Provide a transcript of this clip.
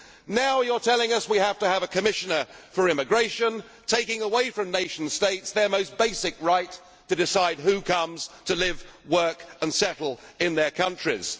us. Now you are telling us we have to have a commissioner for immigration, taking away from nation states their most basic right to decide who comes to live, work and settle in their countries.